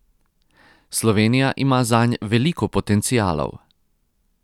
Slovenija ima zanj veliko potencialov.